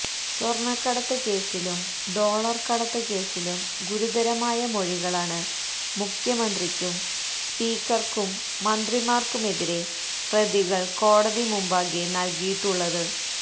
സ്വര്ണ്ണക്കടത്ത് കേസിലും ഡോളര് കടത്ത് കേസിലും ഗുരുതരമായ മൊഴികളാണ് മുഖ്യമന്ത്രിക്കും സ്പീക്കര്ക്കും മന്ത്രിമാര്ക്കുമെതിരെ പ്രതികള് കോടതി മുമ്പാകെ നല്കിയിട്ടുള്ളത്